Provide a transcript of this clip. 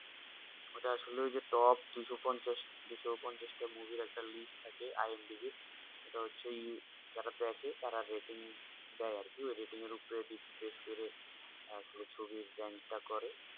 ওটা আসলে ওই যে top দুশো পঞ্চাশ টা movie একটা list থাকে IMDB সেটা হচ্ছে যারা দেখে তারা rating দেয় আর কি ওই rating এর ওপর refresh করে আসলে ছবির প্ল্যান টা করে